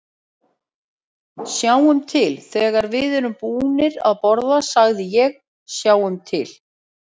Sjáum til, þegar við erum búnir að borða sagði ég, sjáum til